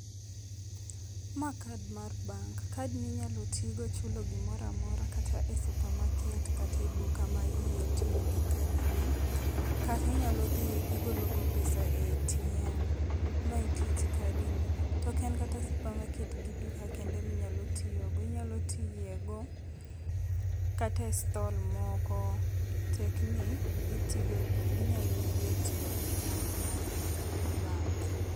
Ma card mar bank, card ni inyalo ti go chulo gomoro amora, kata e supermarket kata e duka ma iye tiyo gi kadi ni, kata inyalo dhi golo go pesa e ATM. Mae e tij kadi ni. To ok en kata supermarket gi duka kende minyalo tiyo go, inyalo tiye go kata e stall moko, tek ni gitiyogi, ginyalo yie tiyo gi card mar bank